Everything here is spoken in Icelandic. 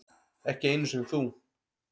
Ekki einu sinni þú.